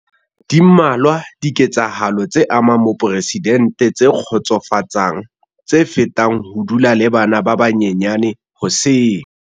Di mmalwa dike tsahalo tse amang moporesidente tse kgotsofatsang tse fetang ho dula le bana ba banyenyane hoseng.